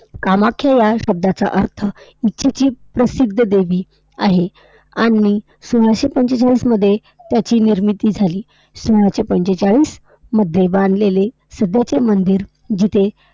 कामाख्या ह्या शब्दाचा अर्थ, जी~ जी प्रसिद्ध देवी आहे आणि सोळाशे पंचेचाळीसमध्ये त्याची निर्मिती झाली. सोळाशे पंचेचाळीसमध्ये बांधलेले सध्याचे मंदिर जिथे